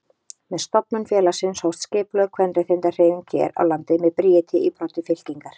Með stofnun félagsins hófst skipulögð kvenréttindahreyfing hér á landi með Bríeti í broddi fylkingar.